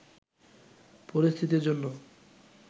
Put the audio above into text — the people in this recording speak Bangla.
পরিস্থিতির জন্য